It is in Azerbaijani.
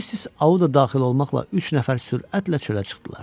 Missis Auda daxil olmaqla üç nəfər sürətlə çölə çıxdılar.